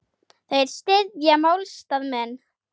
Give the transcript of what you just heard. Þeir styðja málstað minn.